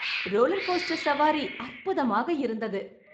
roller coaster சவாரி அற்புதமாக இருந்தது